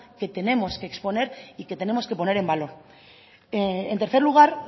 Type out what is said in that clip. que tenemos que exponer y que tenemos que poner en valor en tercer lugar